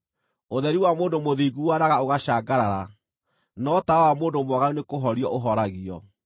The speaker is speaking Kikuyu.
Ũtheri wa mũndũ mũthingu waaraga ũgacangarara, no tawa wa mũndũ mwaganu nĩkũhorio ũhoragio.